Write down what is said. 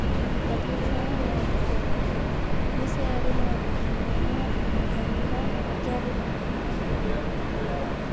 Ũrutani ũcio warĩ wa gũcokera, Nĩ ciarĩ na ũhoti mũnene wa kũruta wĩra na gũtiarĩ na mathĩna maingĩ